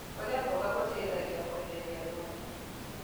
Kũrĩa mboga gũteĩthagĩa kweherĩa thũmũ